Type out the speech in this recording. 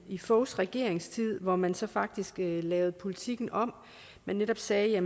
i foghs regeringstid hvor man så faktisk lavede politikken om og netop sagde at